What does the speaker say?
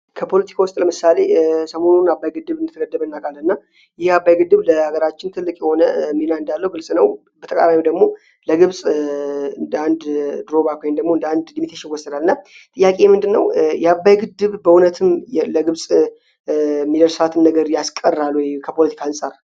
ከፖለቲክ ውስጥ ለመሳሌ ሰሞኑን አባይ ግድብ እንደተገደበ እናውቃለን እና ይህ አባይ ግድብ ለሀገራችን ትልቅ የሆነ ሚና እንዳለው ብልጽ ነው። በተቃራኒው ደግሞ ለግብፅ እንደ አንድ ድሮባኳ ወይም ደግሞ እንደአንድ ልሚቴሽን ወሰዳል ና ጥያቄ ምንድ ነው የአባይ ግድብ በእውነትም ለግብፅ ሚደርሳትን ነገር ያስቀራለ ወይ ከፖለቲክ አንፃር?